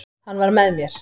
Hann var með mér.